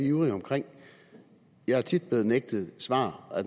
ivrig omkring jeg er tit blev nægtet svar af